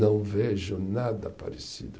Não vejo nada parecido.